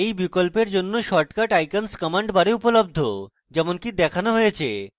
এই বিকল্পের জন্য শর্টকাট icons command bar উপলব্ধ যেমনকি দেখানো হয়েছে